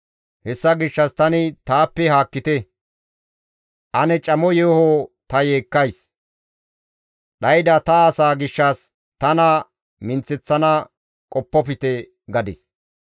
Hessa gishshas tani, «Taappe haakkite; ane camo yeeho ta yeekkays; dhayda ta asaa gishshas tana minththeththana qoppofte» gadis.